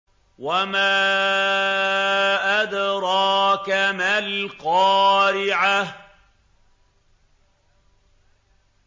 وَمَا أَدْرَاكَ مَا الْقَارِعَةُ